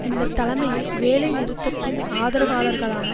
இந்த தலைமையில் வேலை நிறுத்தத்தின் ஆதரவாளர்களான